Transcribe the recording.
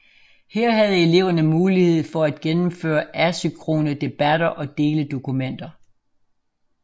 Her havde eleverne mulighed for at gennemføre asynkrone debatter og dele dokumenter